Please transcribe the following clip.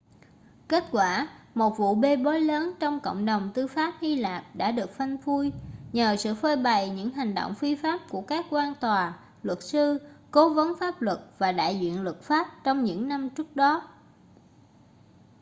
kết quả một vụ bê bối lớn trong cộng đồng tư pháp hy lạp đã được phanh phui nhờ sự phơi bày những hành động phi pháp của các quan tòa luật sư cố vấn pháp luật và đại diện luật pháp trong những năm trước đó